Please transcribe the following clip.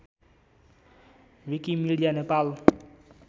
Wikimedia Nepal